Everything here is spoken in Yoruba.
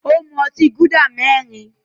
Ó mú ìgò otí Gúdà mẹ́rin.